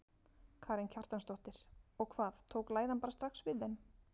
Karen Kjartansdóttir: Og hvað, tók læðan bara strax við þeim?